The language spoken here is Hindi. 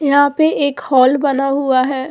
यहां पे एक हाल बना हुआ है।